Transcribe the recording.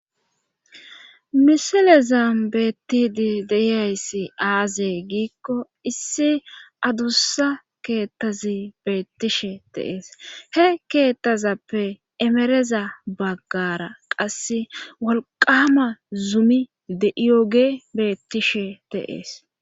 misilezam beettidi deiyayssi aazey giikko issi adussa keettazi beettishe teees he keettazappe emereza baggara qasse wolqama zumi de7iyoge beettishe teees